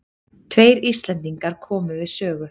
Tveir Íslendingar komu við sögu.